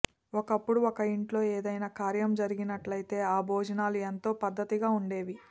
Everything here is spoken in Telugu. ఒకప్పుడు ఒక ఇంట్లో ఏదైనా కార్యం జరిగినట్లయితే ఆ భోజనాలు ఎంతో పద్ధతిగా ఉండేవి